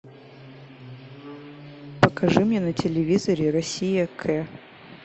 покажи мне на телевизоре россия к